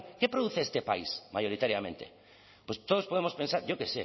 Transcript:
qué produce este país mayoritariamente pues todos podemos pensar yo qué